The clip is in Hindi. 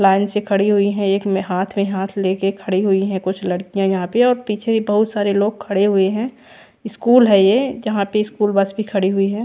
लाइन से खड़ी हुई है एक में हात में हात लेके खड़ी हुई है कुछ लड़किया यहाँ पे और पीछे बहुत सारे लोग खड़े हुए है इस्कूल है ये जहाँ पे इस्कूल बस भी खड़ी हुई है।